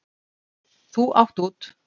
Þú átt út.